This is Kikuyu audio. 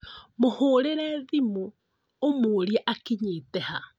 Mũhũrĩre thimũ ũmũrie akinyĩte ha?